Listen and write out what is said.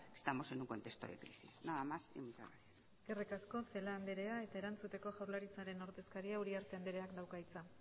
que estamos en un contexto de crisis nada más y muchas gracias eskerrik asko celaá anderea eta erantzuteko jaurlaritzaren ordezkaria uriarte andereak dauka hitza